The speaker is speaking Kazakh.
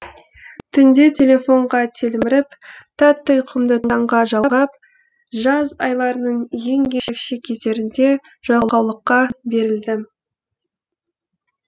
түнде телефонға телміріп тәтті ұйқымды таңға жалғап жаз айларының ең ерекше кездерінде жалқаулыққа берілдім